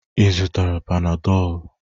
Ị zụtara Panadolụ?